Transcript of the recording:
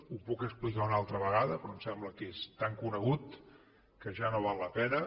ho puc explicar una altra vegada però em sembla que és tan conegut que ja no val la pena